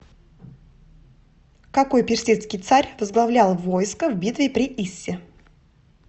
какой персидский царь возглавлял войско в битве при иссе